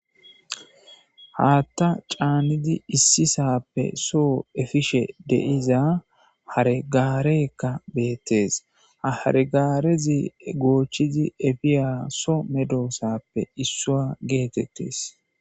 Haatta caanidi issisappe soo efishe deiza haregaareekka beettes haregaarezi goochchizi efiyaso medoosappe issua geetettes.